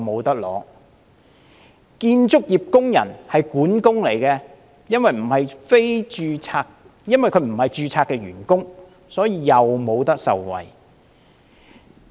一名建造業工人，任職管工，但因為他不是註冊員工，於是亦不能受惠。